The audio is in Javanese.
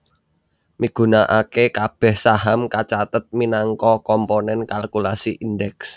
migunakaké kabèh saham kacathet minangka komponèn kalkulasi Indeks